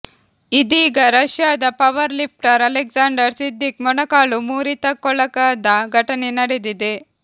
ಇದೀಗ ರಷ್ಯಾದ powerlifter Alexander Siddiq ಮೊಣಕಾಲು ಮುರಿತಕ್ಕೊಳಗಾದ ಘಟನೆ ನಡೆದಿದೆ